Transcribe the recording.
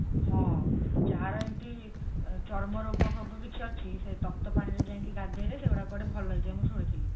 ହଁ ଯାହାର ଏମତି ଚର୍ମ ରୋଗ ଫୋଗ କିଛି ଅଛି ସେ ତପ୍ତପାଣିରେ ଯାଇକି ଗାଧେଇଲେ ସେଗୁଡା କୁଆଡେ ଭଲ ହେଇଯାଏ ମୁଁ ଶୁଣିଥିଲି